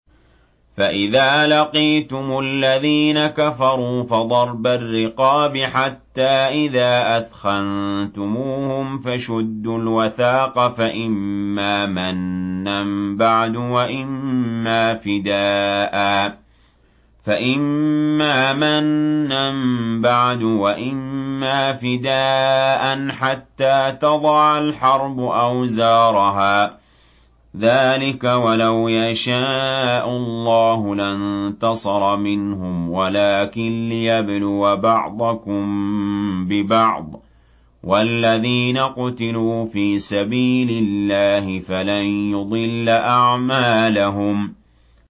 فَإِذَا لَقِيتُمُ الَّذِينَ كَفَرُوا فَضَرْبَ الرِّقَابِ حَتَّىٰ إِذَا أَثْخَنتُمُوهُمْ فَشُدُّوا الْوَثَاقَ فَإِمَّا مَنًّا بَعْدُ وَإِمَّا فِدَاءً حَتَّىٰ تَضَعَ الْحَرْبُ أَوْزَارَهَا ۚ ذَٰلِكَ وَلَوْ يَشَاءُ اللَّهُ لَانتَصَرَ مِنْهُمْ وَلَٰكِن لِّيَبْلُوَ بَعْضَكُم بِبَعْضٍ ۗ وَالَّذِينَ قُتِلُوا فِي سَبِيلِ اللَّهِ فَلَن يُضِلَّ أَعْمَالَهُمْ